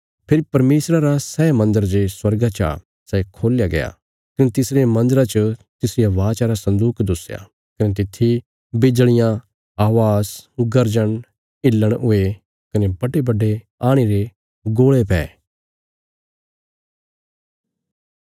फेरी परमेशरा रा सै मन्दर जे स्वर्गा चा सै खोल्या गया कने तिसरे मन्दरा च तिसरिया वाचा रा सन्दूक दुस्या कने तित्थी बिजल़ियां अवाज़ गर्जन हिलण हुये कने बड्डेबड्डे आणी रे गोल़े पै